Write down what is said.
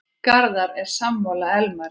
Garðar er sammála Elmari.